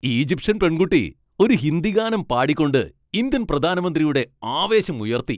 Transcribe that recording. Egyptian പെൺകുട്ടി ഒരു ഹിന്ദി ഗാനം പാടിക്കൊണ്ട് ഇന്ത്യൻ പ്രധാനമന്ത്രിയുടെ ആവേശം ഉയർത്തി.